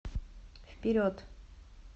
вперед